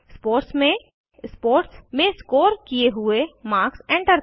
sports में sports में score किये हुए मार्क्स एंटर करें